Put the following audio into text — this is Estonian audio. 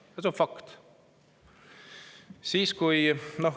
See on fakt.